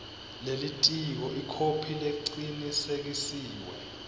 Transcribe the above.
lelitiko ikhophi lecinisekisiwe